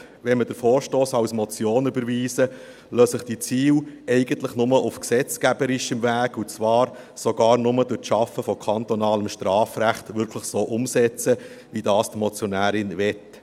Wenn wir den Vorstoss als Motion überweisen, lassen sich die Ziele eigentlich nur auf gesetzgeberischem Weg, und zwar sogar nur durch das Schaffen von kantonalem Strafrecht, wirklich so umsetzen, wie es die Motionärin möchte.